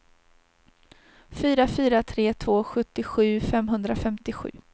fyra fyra tre två sjuttiosju femhundrafemtiosju